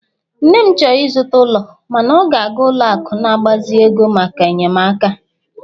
nne m chọrọ ịzụta ụlọ, mana ọ ga-aga ụlọ akụ mgbazinye ego maka enyemaka